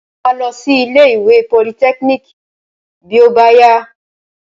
Mo máa lọ sí ilé ìwé politẹ́kíníìkì bí ó bá yá.